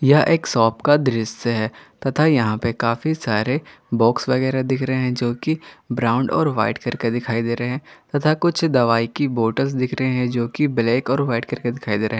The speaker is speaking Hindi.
यह एक शॉप का दृश्य है तथा यहां पे काफी सारे बॉक्स वगैरा दिख रहे हैं जो कि ब्राउन और वाइट करके दिखाई दे रहे हैं तथा कुछ दवाई की बोतल दिख रहे हैं जो की ब्लैक और वाइट करके दिखाई दे रहा है।